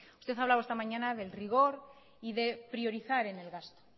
usted ha hablado esta mañana del rigor y de priorizar en el gasto